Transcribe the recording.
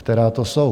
Která to jsou?